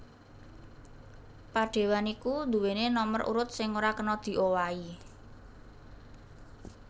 Padéwan iku nduwèni nomer urut sing ora kena diowahi